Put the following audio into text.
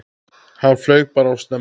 Hann flaug bara of snemma.